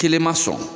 Kelen ma sɔn